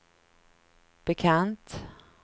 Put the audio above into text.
bekant